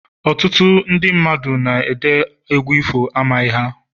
Ọtụtụ ndị mmadụ na-ede egwu ifo, amaghị ha